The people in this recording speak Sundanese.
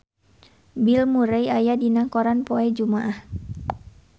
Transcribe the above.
Bill Murray aya dina koran poe Jumaah